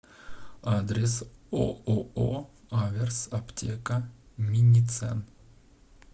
адрес ооо аверс аптека миницен